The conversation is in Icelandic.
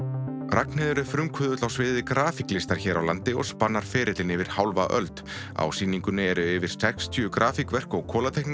Ragnheiður er frumkvöðull á sviði hér á landi og spannar ferillinn yfir hálfa öld á sýningunni eru yfir sextíu grafíkverk og